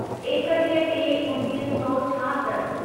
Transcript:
एकटीह टे उणिवीह सौ छाहतरि